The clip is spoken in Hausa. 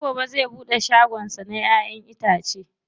Sai gobe zai buɗe shagon sa na ƴa'ƴan itace.